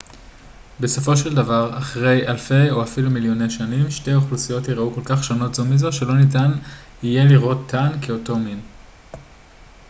בסופו של דבר אחרי אלפי או אפילו מיליוני שנים שתי האוכלוסיות ייראו כל כך שונות זו מזו שלא ניתן יהיה לראותן כאותו מין